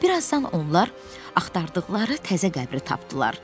Bir azdan onlar axtardıqları təzə qəbri tapdılar.